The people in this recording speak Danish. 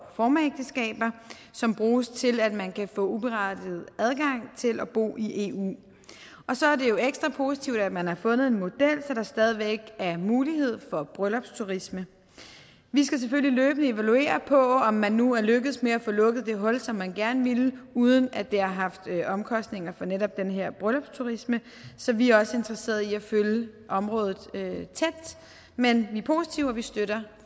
proformaægteskaber som bruges til at man kan få uberettiget adgang til at bo i eu og så er det jo ekstra positivt at man har fundet en model så der stadig væk er mulighed for bryllupsturisme vi skal selvfølgelig løbende evaluere på om man nu er lykkedes med at få lukket det hul som man gerne ville uden at det har haft omkostninger for netop den her bryllupsturisme så vi er også interesseret i at følge området tæt men vi er positive og vi støtter